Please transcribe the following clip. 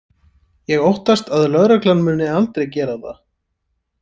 Ég óttast að lögreglan muni aldrei gera það.